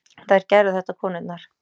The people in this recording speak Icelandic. Og þær gerðu þetta, konurnar.